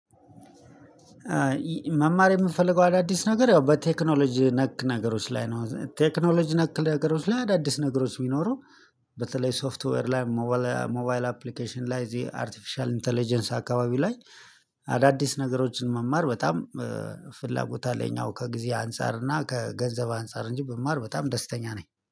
መማር የምፈልገው አዳዲስ ነገር ያው በቴክኖሎጂ ነክ ነገሮች ላይ ነው ቴክኖሎጂ ነክ ነገሮች ላይ አዳዲስ ነገሮች ቢኖሩ በተለይ ሶፍትዌር ላይ ሞባይል አፕሊኬሽን ላይ እዚህ አርቴፊሻል ኢንተለጀንስ አካባቢ ላይ አዳዲስ ነገሮችን መማር በጣም ፍላጎት አለኝ። አሁን ከጊዜ አንፃር እና ከገንዘብ አንፃር እንጂ ብማር በጣም ደስተኛ ነኝ